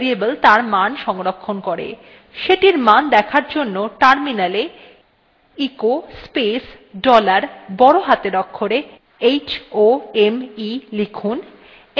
সেটির মান দেখার জন্য terminal e echo space dollar বড় হাতের অক্ষরে home লিখুন enter টিপুন